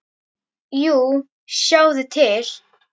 Jú, sjáðu til!